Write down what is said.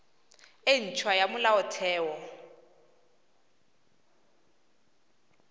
e nt hwa ya molaotheo